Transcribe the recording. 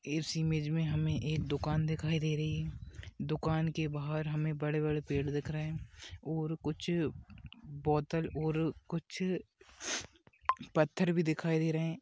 इस इमेज मे हमे एक दुकान दिखाई दे रही है दुकान के बहार हमे बड़े बड़े पेड़ दिख रहे है और कुछ बोतल और कुछ पत्थर भी दिखाई दे रहे है।